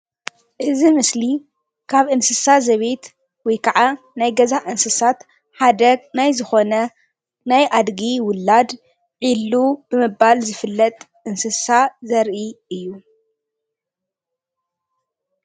እዚ ምስሊ ካብ እንስሳ ዘቤት ወይ ከዓ ናይ ገዛ እንስሳት ሓደ ናይ ዝኮነ ናይ ኣድጊ ውላድ ዒሉ ብምባል ዝፍለጥ እንስሳ ዘርኢ እዩ፡፡